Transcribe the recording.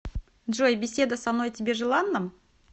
джой беседа со мной тебе желанна